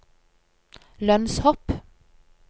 lønnshopp